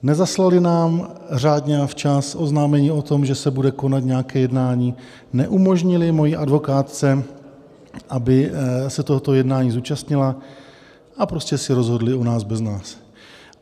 Nezaslali nám řádně a včas oznámení o tom, že se bude konat nějaké jednání, neumožnili mojí advokátce, aby se tohoto jednání zúčastnila, a prostě si rozhodli o nás bez nás.